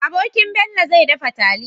Abokin Bello zai dafa taliya